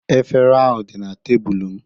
Efere ahụ dị na tebụlụ m